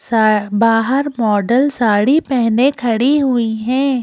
सा बाहर मॉडल साड़ी पहने खड़ी हुई हैं।